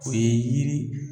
O ye yir